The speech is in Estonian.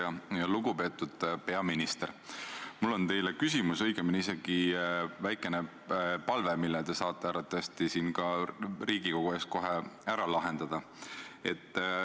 Eks need ole ju erinevad head poliitikad, mida tänane koalitsioon ellu viib – olgu see sotsiaalvaldkonnas, olgu see haridusvaldkonnas, olgu see sisepoliitikavaldkonnas.